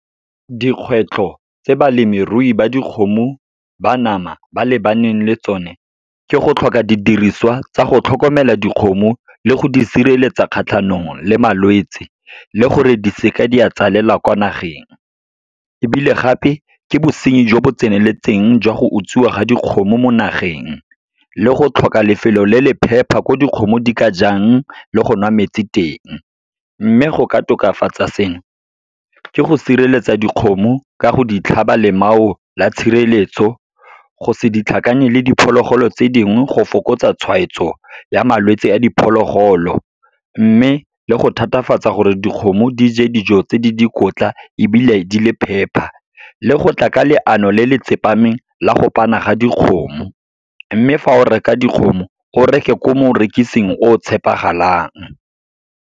Dikgwetlho tse balemirui ba dikgomo ba nama ba lebaneng le tsone, ke go tlhoka didiriswa tsa go tlhokomela dikgomo le go di sireletsa kgatlhanong le malwetse, le gore di seka di a tswalelwa kwa nageng. Ebile gape, ke bosenyi jo bo tseneletseng jwa go utswiwa ga dikgomo mo nageng, le go tlhoka lefelo le le phepa ko dikgomo di ka jang le go nwa metsi teng. Mme go ka tokafatsa seno, ke go sireletsa dikgomo ka go di tlhaba lemao la tshireletso, go se ditlhakane le diphologolo tse dingwe, go fokotsa tshwaetso ya malwetse a diphologolo. Mme le go thatafatsa gore dikgomo di je dijo tse di dikotla ebile di le phepa, le go tla ka leano le le tsepameng la go pana ga dikgomo. Mme fa o reka dikgomo, o reke ko morekisang o tshepagalang.